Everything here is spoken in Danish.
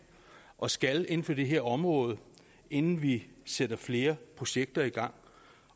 og skal inden for det her område inden vi sætter flere projekter i gang